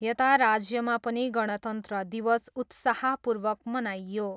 यता राज्यमा पनि गणतन्त्र दिवस उत्साहपूर्वक मनाइयो।